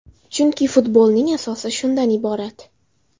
Chunki futbolning asosi shundan iborat.